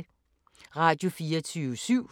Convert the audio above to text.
Radio24syv